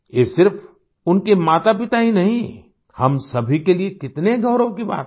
ये सिर्फ़ उनके मातापिता ही नहीं हम सभी के लिए कितने गौरव की बात है